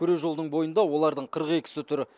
күре жолдың бойында олардың қырық екісі тұр